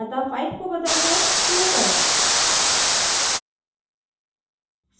अतः 5 को बदलकर 2 करें